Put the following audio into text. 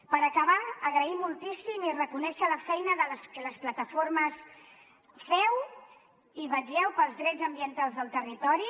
per acabar agrair moltíssim i reconèixer la feina que les plataformes feu per vetllar pels drets ambientals del territori